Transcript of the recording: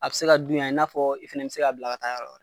A be se ka dun yan, i n'a fɔ i fana be se ka bila ka taa yɔrɔ wɛrɛ.